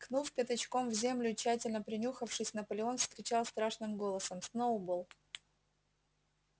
ткнув пятачком в землю и тщательно принюхавшись наполеон вскричал страшным голосом сноуболл